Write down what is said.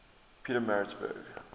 pietermaritzburg